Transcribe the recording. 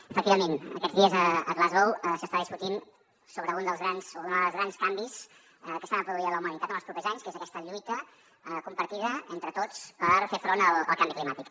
efectivament aquests dies a glasgow s’està discutint sobre un dels grans canvis que s’ha de produir a la humanitat en els propers anys que és aquesta lluita compartida entre tots per fer front al canvi climàtic